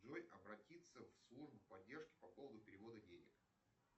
джой обратиться в службу поддержки по поводу перевода денег